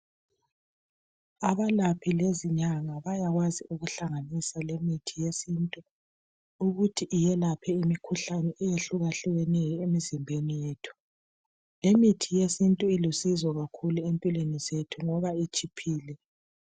abalaphi lezinyanga bayakwazi ukuhlanganisa lemithi yesintu ukuthi yelaphe imikhuhlane eyehlukahlukeneyo emizimbeni yethu imithi yesintu ilusizo kakhulu empilweni zethu ngoba i tshiphile